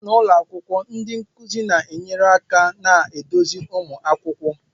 N'ụlọ akwụkwọ ndi nkuzi na enyere aka na-eduzi ụmụ akwụkwọ